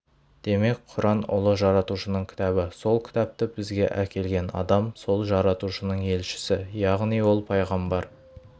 демек құран ұлы жаратушының кітабы сол кітапты бізге әкелген адам сол жаратушының елшісі яғни ол пайғамбар